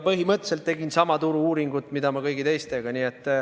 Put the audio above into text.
Põhimõtteliselt ma tegin sama turu-uuringut, mida kõigi teistega.